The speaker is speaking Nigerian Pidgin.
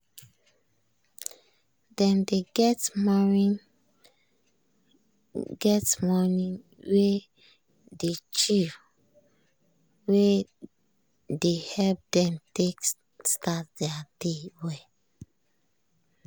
dem dey get morning get morning wey dey chill wey dey help dem take start thier day well.